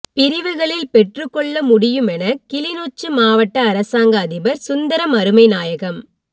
பிரிவுகளில் பெற்றுக்கொள்ள முடியுமென கிளிநொச்சி மாவட்ட அரசாங்க அதிபர் சுந்தரம் அருமைநாயகம்